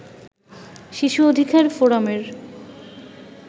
শিশু অধিকার ফোরামের